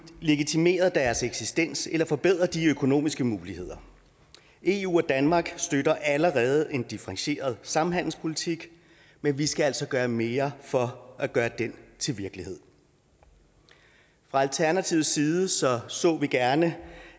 legitimeret deres eksistens eller forbedret de økonomiske muligheder eu og danmark støtter allerede en differentieret samhandelspolitik men vi skal altså gøre mere for at gøre den til virkelighed fra alternativets side så så vi gerne